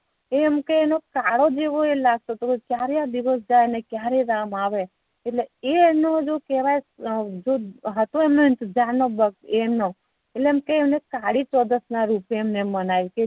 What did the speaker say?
એ એમ કે એમનો કાળો જે હોય એ લાગતો તો ક્યારે આ દિવસ જાય ને ક્યારે રામ આવે એટલે એ એમનો શું કેહવાય એમનો એમ કે અને કાળી ચૌદશ ના રૂપે મેનાવ્યુ